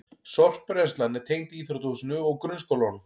Sorpbrennslan er tengd íþróttahúsinu og grunnskólanum